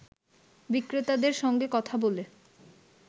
বিক্রেতাদের সঙ্গে কথা বলে